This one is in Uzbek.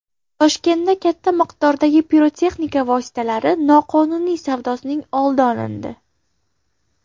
Toshkentda katta miqdordagi pirotexnika vositalari noqonuniy savdosining oldi olindi.